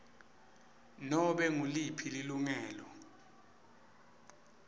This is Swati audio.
nobe nguliphi lilungelo